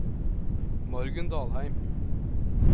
Margunn Dalheim